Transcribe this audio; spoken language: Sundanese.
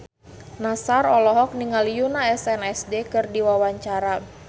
Nassar olohok ningali Yoona SNSD keur diwawancara